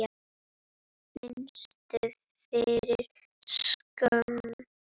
Fannstu fyrir skömm?